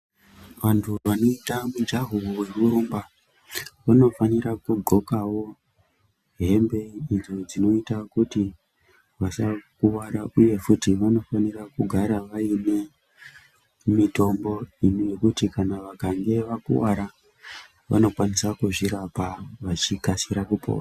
Vantu vanoita mijaho yeku rumba huno fanira ku ndxokawo hembe idzo dzino ita kuti vasa kuvara uye futi vano fanira kugara vaine mitombo imwe yekuti kana vakange vakuvara vano kwanisa ku zvirapa vachi kasira kupora.